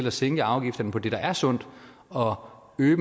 at sænke afgifterne på det der er sundt og øge